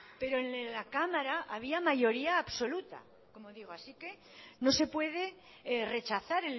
pero en la cámara había mayoría absoluta como digo así que no se puede rechazar